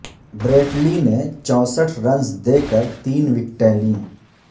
Brett Lee نے چونسٹھ runs دے کر تین وکٹیں لیں